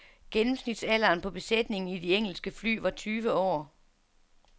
Gennemsnitsalderen på besætningen i de engelske fly var tyve år.